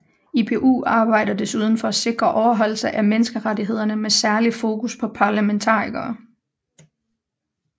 IPU arbejder desuden for at sikre overholdelse af menneskerettighederne med særligt fokus på parlamentarikere